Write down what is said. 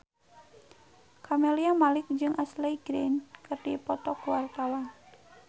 Camelia Malik jeung Ashley Greene keur dipoto ku wartawan